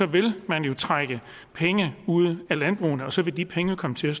vil man jo trække penge ud af landbrugene og så vil de penge komme til